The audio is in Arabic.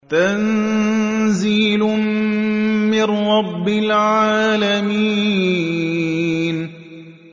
تَنزِيلٌ مِّن رَّبِّ الْعَالَمِينَ